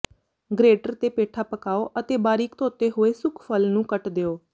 greater ਤੇ ਪੇਠਾ ਪਕਾਉ ਅਤੇ ਬਾਰੀਕ ਧੋਤੇ ਹੋਏ ਸੁੱਕ ਫਲ ਨੂੰ ਕੱਟ ਦਿਓ